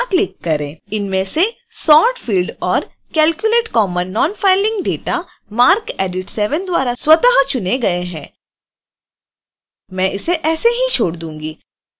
इनमें से sort fields और calculate common nonfiling data marcedit 7 द्वारा स्वतः चुने गए हैं